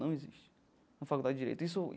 Não existe na Faculdade de Direito isso.